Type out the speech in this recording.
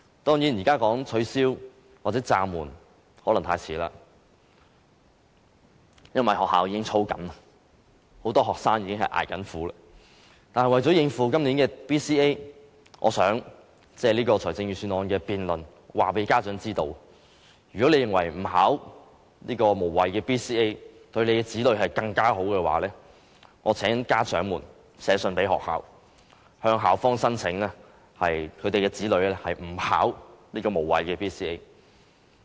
當然，現在說取消或暫緩可能太遲，因為學校已經在操練，很多學生已在捱苦，但為了應付今年的 BCA， 我想借這個施政報告議案辯論告訴家長，如果你們認為不考這個無謂的 BCA 對子女更好，請寫信給學校，向校方申請豁免參加無謂的 BCA。